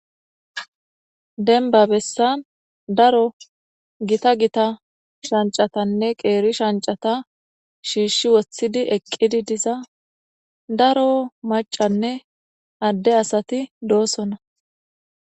denba bessan daro gita gita shancatanne qeeri shancata shiishshi woththidi eqqidi diza daro macanne adde asati doosona